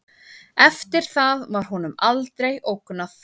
Eftir það var honum aldrei ógnað